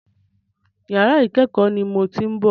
Yàrà ìkẹ́kọ̀ọ́ ni mò ń ti bọ̀.